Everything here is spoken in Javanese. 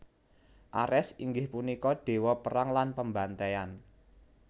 Ares inggih punika déwa perang lan pembantaian